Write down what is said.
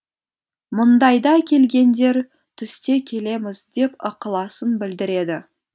мұндайда келгендер түсте келеміз деп ықыласын білдіреді